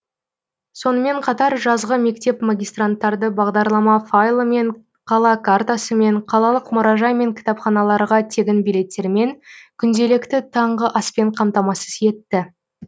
сонымен қатар жазғы мектеп магистранттарды бағдарлама файлымен қала картасымен қалалық мұражай мен кітапханаларға тегін билеттермен күнделікті таңғы аспен қамтамасыз етті